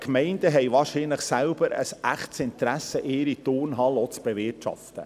Die Gemeinden haben wahrscheinlich selber ein echtes Interesse daran, ihre Turnhallen auch zu bewirtschaften.